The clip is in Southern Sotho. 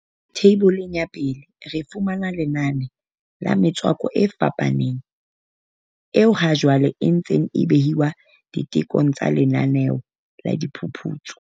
Theiboleng ya 1 re fumana lenane la metswako e fapaneng eo hajwale e ntseng e behwa ditekong tsa lenaneo la diphuputso.